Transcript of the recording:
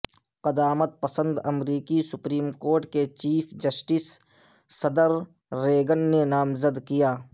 قدامت پسند امریکی سپریم کورٹ کے چیف جسٹس صدر ریگن نے نامزد کیا